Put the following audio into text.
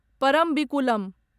Parambikulam